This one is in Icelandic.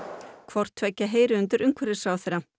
hvort tveggja heyrir undir umhverfisráðherra